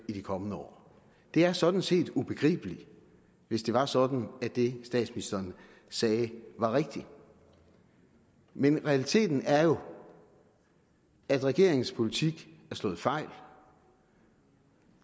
i de kommende år det er sådan set ubegribeligt hvis det var sådan at det statsministeren sagde var rigtigt men realiteten er jo at regeringens politik er slået fejl